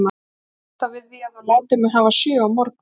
Ég býst þá við því, að þú látir mig hafa sjö á morgun.